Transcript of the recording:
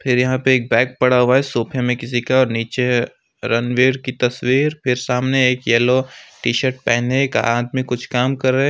फिर यहां पे एक बैग पड़ा हुआ है सोफे में किसी का और नीचे रणवीर की तस्वीर फिर सामने एक येलो टिशर्ट पहने एक आदमी कुछ काम कर रहे।